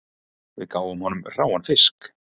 Við gáfum honum hráan fisk